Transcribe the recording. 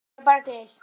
Og fleira bar til.